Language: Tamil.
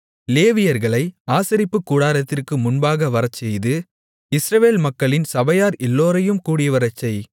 லேவியர்களை ஆசரிப்புக்கூடாரத்திற்கு முன்பு வரச்செய்து இஸ்ரவேல் மக்களின் சபையார் எல்லோரையும் கூடிவரச்செய்